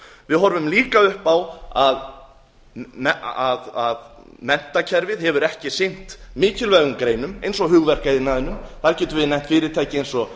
við horfum líka upp á að menntakerfið hefur ekki sinnt mikilvægum greinum eins og hugverkaiðnaðinum þar getum við nefnt fyrirtæki eins og